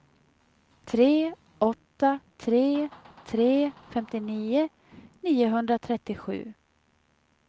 tre åtta tre tre femtionio niohundratrettiosju